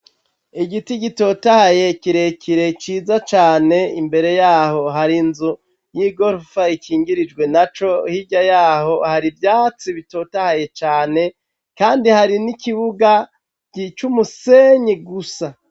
igiti gitotahaye kirekire ciza cane imbere yaho hari inzu y'igorofa ikingirijwe naco hirya yaho hari ivyatsi bitotahaye cane kandi hari n'ikibuga gicumusenyi gusa